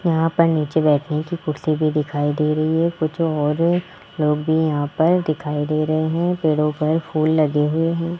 यहां पर नीचे बैठने की कुर्सी भी दिखाई दे रही है कुछ और लोग भी यहां पर दिखाई दे रहे हैं पेड़ों पर फूल लगे हुए हैं।